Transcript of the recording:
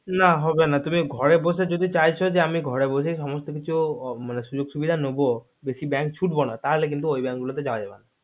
না হবে না তুমি ঘরে বসে যদি চাইছো যে আমি ঘরে বসেই সমস্ত কিছু সুযোগ সুবিধা নব bank ছুটবো না তাহলে কিন্তু ওই ব্যাঙ্ক গুলো তে যায় যাবে না